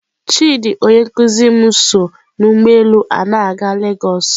Chidi onye nkuzi m so n'ụgbọ elu a na-aga lagos.